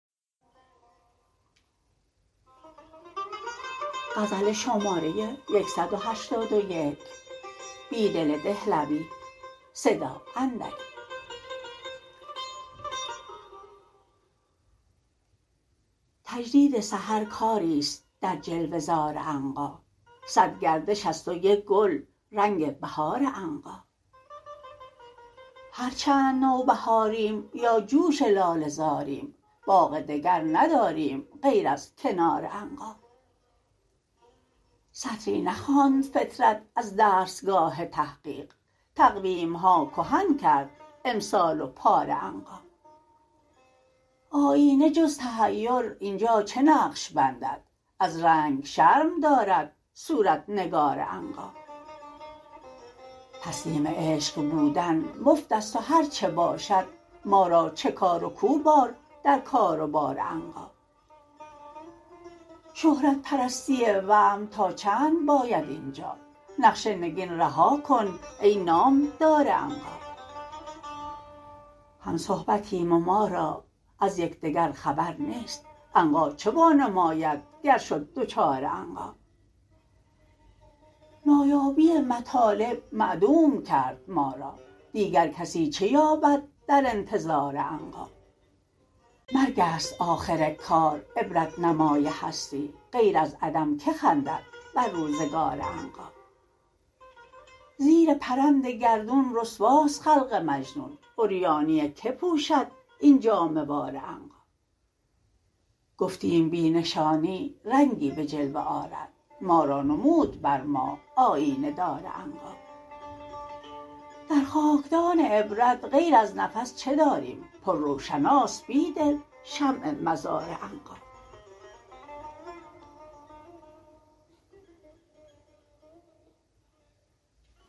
تجدید سحرکاری ست در جلوه زار عنقا صدگردش است و یک گل رنگ بهار عنقا هرچند نوبهاریم یا جوش لاله زاریم باغ دگر نداریم غیر از کنار عنقا سطری نخواند فطرت از درسگاه تحقیق تقویم ها کهن کرد امسال و پار عنقا آیینه جز تحیر اینجا چه نقش بندد از رنگ شرم دارد صورت نگار عنقا تسلیم عشق بودن مفت است هرچه باشد ما را چه کار و کو بار در کار و بار عنقا شهرت پرستی وهم تا چند باید اینجا نقش نگین رها کن ای نامدار عنقا هم صحبتیم و ما را از یکدگر خبر نیست عنقا چه وانماید گر شد دچار عنقا نایابی مطالب معدوم کرد ما را دیگر کسی چه یابد در انتظار عنقا مرگ است آخر کار عبرت نمای هستی غیر از عدم که خندد بر روزگار عنقا زیر پرند گردون رسواست خلق مجنون عریانی که پوشد این جامه وار عنقا گفتیم بی نشانی رنگی به جلوه آرد ما را نمود بر ما آیینه دار عنقا در خاکدان عبرت غیر از نفس چه داریم پرروشناست بیدل شمع مزار عنقا